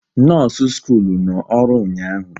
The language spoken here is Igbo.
Nọọsụ skuulu nọ ọrụ ụnyaahụ